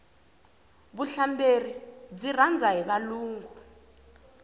vuhlamberi byi rhandza hi valungu